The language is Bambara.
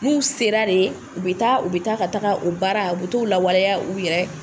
N'u sera de u bɛ taa u bɛ taa ka taa o baara u bɛ t'o lawaleya u yɛrɛ